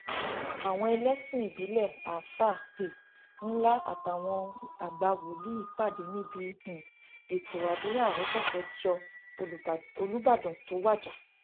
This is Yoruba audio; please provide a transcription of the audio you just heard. àwọn ẹlẹsìn ìbílẹ àáfáà um ńlá àtàwọn àgbà wòlíì pàdé níbi um ètò àdúrà ọjọ kẹjọ olùbàdàn tó wájà